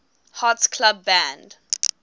hearts club band